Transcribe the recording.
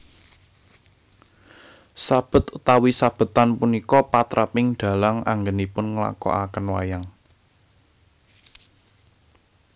Sabet utawi sabetan punika patraping dhalang anggènipun nglakokaken wayang